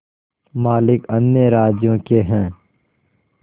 मालिक अन्य राज्यों के हैं